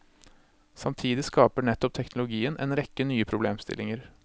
Samtidig skaper nettopp teknologien en rekke nye problemstillinger.